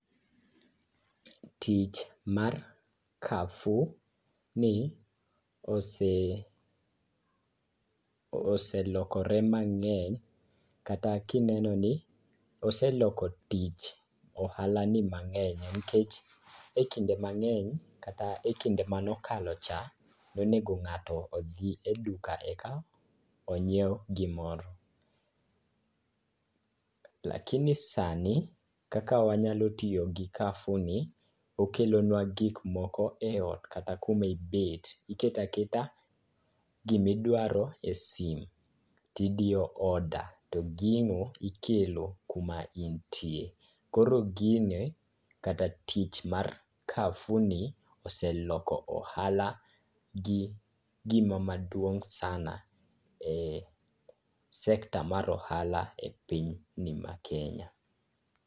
Tich mar carrefour ni oselokore mang'eny kata kineno ni oseloko tich, ohalani mang'eny nikech e kinde mang'eny kata e kinde mano kalocha, nonego ng'ato odhi e duka eka onyiew gimoro. lakini sani kata wanyalo tiyo gi carrefourni, okelonwa gikmoko e ot kata kuma ibet. Iketo aketa gimidwaro e sim tidiyo order to gino ikelo kuma intie. Koro gini kata tich mar carrefourni oseloko ohalagi gima maduong' sana e sector mar ohala e pinyni mar Kenya.